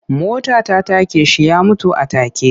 Mota ta take shi ya mutu a take.